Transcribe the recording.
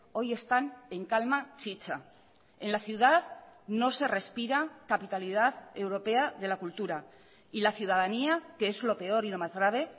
hoy están en calma chicha en la ciudad no se respira capitalidad europea de la cultura y la ciudadanía que es lo peor y lo más grave